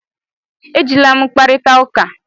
Ejila m kparịta ụka!